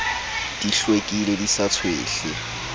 di hlwekile di sa tshwehle